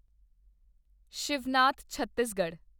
Shivnath Chhattisgarh